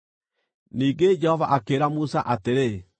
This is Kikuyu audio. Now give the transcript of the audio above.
Ningĩ Jehova akĩĩra Musa atĩrĩ,